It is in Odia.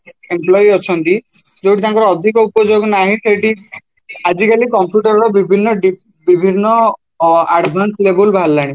employ ଅଛନ୍ତି ଯୋଉଠି ତାଙ୍କର ଅଧିକ ଉପଯୋଗ ନାହିଁ ସେଇଠି ଆଜିକାଲି computer ର ବିଭିନ୍ନ ବିଭିନ୍ନ ଅ advance level ବାହାରିଲାଣି